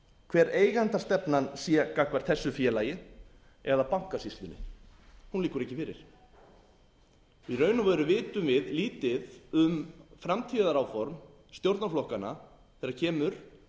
hver eigendastefnan sé gagnvart þessu félagi eða bankasýslunni hún liggur ekki fyrir í raun og veru vitum við lítið um framtíðaráform stjórnarflokkanna þegar kemur